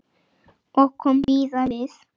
Og kom víða við.